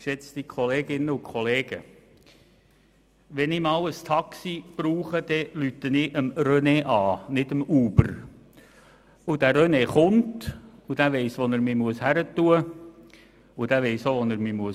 René kommt und weiss, wo er mich hinbringen soll, und er weiss auch, wann er mich wieder abholen muss.